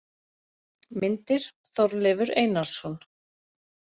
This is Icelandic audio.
Myndir: Þorleifur Einarsson.